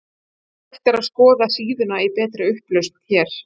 Hægt er að skoða síðuna í betri upplausn hér.